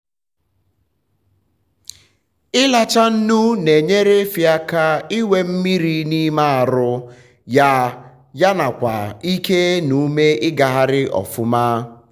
ilacha nnu na enyere efi aka inwe um mmiri n'ime arụ um ya nyanakwa ike n' ume ịgagharị ọfụma.